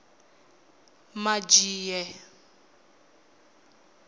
madzhie